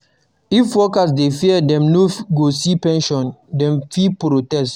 If workers dey fear say dem no go see pension, dem fit protest